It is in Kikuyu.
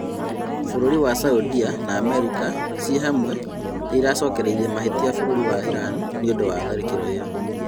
Bũrũri wa Saudia na Amerika cĩĩhamwe nĩiracokereria mahĩtia bũrũri wa Iran nĩũndũ wa tharĩkĩro ĩyo